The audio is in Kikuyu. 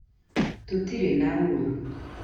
Tũtirĩ na ũũru.